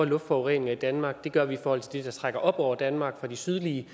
luftforurening i danmark det gør vi i forhold til det der trækker op over danmark fra de sydlige